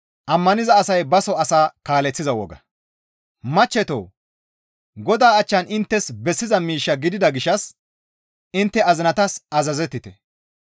Machchetoo! Godaa achchan inttes bessiza miish gidida gishshas intte azinatas azazettite.